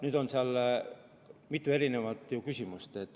Nüüd on seal mitu erinevat küsimust.